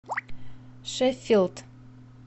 шеффилд